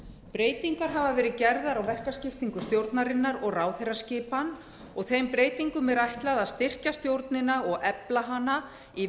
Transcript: breytingar hafa verið gerðar á verkaskiptingu stjórnarinnar og ráðherraskipan og þeim breytingum er ætlað að styrkja stjórnina og efla hana í